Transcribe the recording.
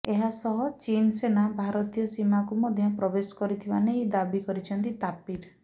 ଏହା ସହ ଚୀନ୍ ସେନା ଭାରତୀୟ ସୀମାକୁ ମଧ୍ୟ ପ୍ରବେଶ କରିଥିବା ନେଇ ଦାବି କରିଛନ୍ତି ତାପିର